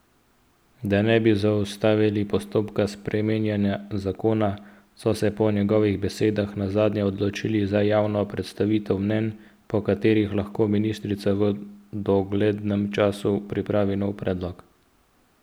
Da ne bi zaustavili postopka sprejemanja zakona, so se po njegovih besedah nazadnje odločili za javno predstavitev mnenj, po kateri lahko ministrica v doglednem času pripravi nov predlog.